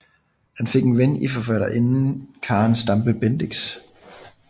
Han fik en ven i forfatterinden Karen Stampe Bendix